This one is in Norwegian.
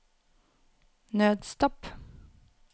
nødstopp